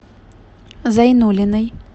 зайнуллиной